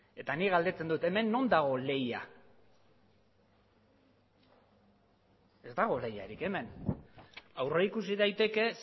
eta ni galdetzen dut hemen non dago lehia ez dago lehiarik hemen aurrikusi daiteke